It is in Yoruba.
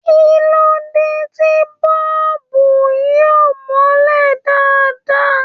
Kí ló dé tí bọ́ọ̀bù yìí ò mọ́lẹ̀ dáadáa?